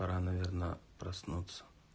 пора наверно проснуться